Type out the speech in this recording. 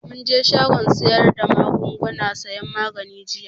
Mun je shagon sayar da magunguna sayan magani jiya